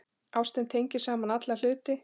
Ástin tengir saman alla hluti.